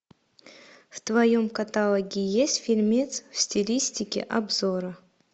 в твоем каталоге есть фильмец в стилистике обзора